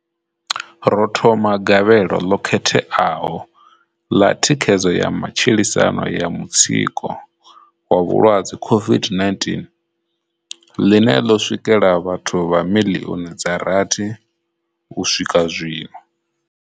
Ro thoma Gavhelo ḽo Khetheaho ḽa Thikhedzo ya Matshilisano ya Mutsiko wa vhulwadze COVID-19, ḽine ḽo swikela vhathu vha miḽioni dza rathi u swika zwino.